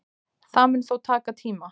Það mun þó taka tíma